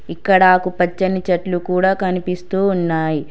ఇక్కడ ఆకు పచ్చని చెట్లు కూడా కనిపిస్తూ ఉన్నాయి.